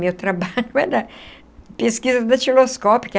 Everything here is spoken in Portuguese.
Meu trabalho era pesquisa datiloscópica.